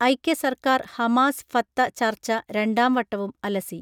ഐക്യസർക്കാർ Hamas Fatah ചർച്ച രണ്ടാം വട്ടവും അലസ്സി